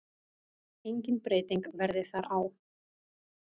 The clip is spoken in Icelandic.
Engin breyting verði þar á.